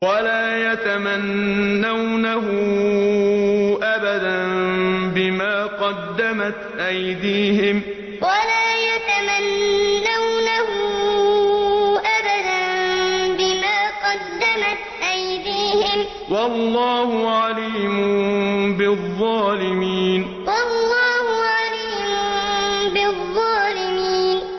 وَلَا يَتَمَنَّوْنَهُ أَبَدًا بِمَا قَدَّمَتْ أَيْدِيهِمْ ۚ وَاللَّهُ عَلِيمٌ بِالظَّالِمِينَ وَلَا يَتَمَنَّوْنَهُ أَبَدًا بِمَا قَدَّمَتْ أَيْدِيهِمْ ۚ وَاللَّهُ عَلِيمٌ بِالظَّالِمِينَ